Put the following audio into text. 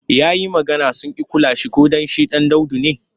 Ya yi magana sun ƙi kula shi ko don shi ɗan daudu ne.